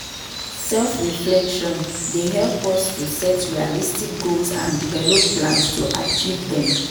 Self-reflection dey help us to set realistic goals and develop plans to achieve dem.